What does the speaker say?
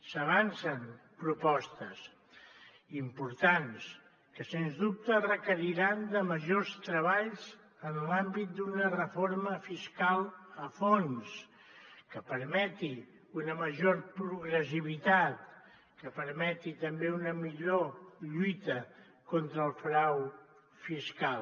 s’avancen propostes importants que sens dubte requeriran majors treballs en l’àmbit d’una reforma fiscal a fons que permeti una major progressivitat que permeti també una millor lluita contra el frau fiscal